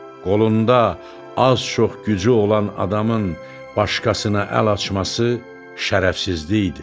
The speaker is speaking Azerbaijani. Qolunda az-çox gücü olan adamın başqasına əl açması şərəfsizlikdir.